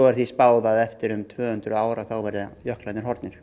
er því spáð að eftir tvö hundruð ár verði jöklarnir horfnir